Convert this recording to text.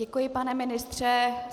Děkuji pane ministře.